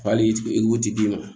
Hali i ti d'i ma